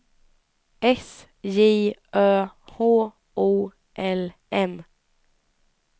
S J Ö H O L M